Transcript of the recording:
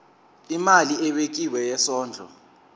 imali ebekiwe yesondlo